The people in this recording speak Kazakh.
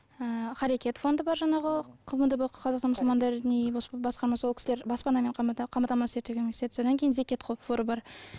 ы қарекет фонды бар жаңағы қмд қазақстан мұсылмандар діни басқармасы ол кісілер баспанамен қамтамасыз етуге көмектеседі содан кейін зекет қоры бар